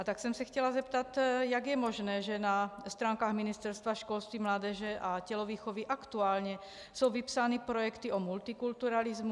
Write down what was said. A tak jsem se chtěla zeptat, jak je možné, že na stránkách Ministerstva školství, mládeže a tělovýchovy aktuálně jsou vypsány projekty o multikulturalismu.